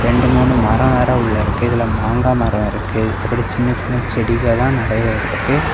ரெண்டு மூணு மரோ வேற உள்ள இருக்கு இதுல மாங்கா மரோ இருக்கு அப்புறம் சின்ன சின்ன செடிகதா நிறைய இருக்கு.